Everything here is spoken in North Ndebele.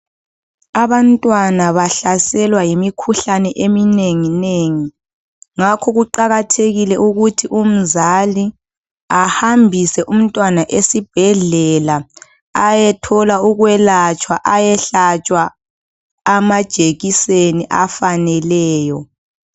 Abantwana bahlaselwa yimikhuhlane eminengi nengi ngakho kuqakathekile ukuthi umzali ahambise umntwana esibhedlela ayethola ukwelatshwa ayehlatshwa amajekiseni afaneleyo.